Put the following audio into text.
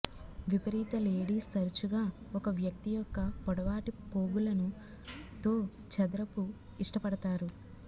విపరీత లేడీస్ తరచుగా ఒక వ్యక్తి యొక్క పొడవాటి పోగులను తో చదరపు ఇష్టపడతారు